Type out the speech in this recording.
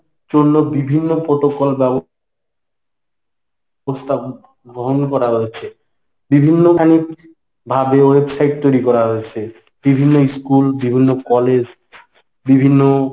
জন্য বিভিন্ন protocol ব্যবস্থা গ্রহণ করা হয়েছে বিভিন্নখানিক বাদেও website তৈরি করা হয়েছে। বিভিন্ন school বিভিন্ন college বিভিন্ন